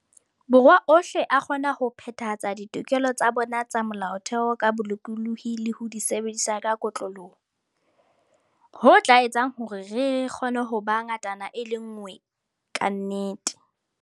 Borwa ohle a kgona ho phethahatsa ditokelo tsa bona tsa Mo-laotheo ka bolokolohi le ho di sebedisa ka kotloloho, ho tla etsang hore re kgone ho ba ngatana e le nngwe ka nnete.